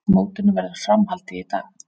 Mótinu verður fram haldið í dag